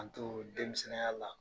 An too denmisɛnninya la